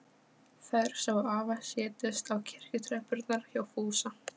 Þær sáu afa setjast á kirkjutröppurnar hjá Fúsa.